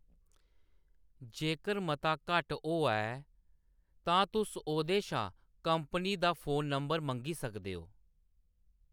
जेकर मता घट्ट होआ ऐ, तां तुस ओह्‌‌‌दे शा कंपनी दा फोन नंबर मंगी सकदे ओ।